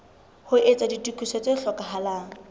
ho etsa ditokiso tse hlokahalang